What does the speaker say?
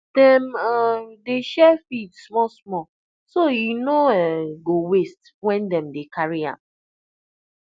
dem um dey share feed small small so e no um go waste when dem dey carry am